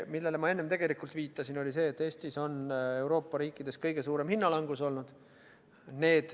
Millele ma enne tegelikult viitasin, oli see, et Eestis on Euroopa riikidest olnud kõige suurem hinnalangus.